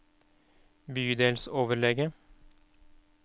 bydelsoverlege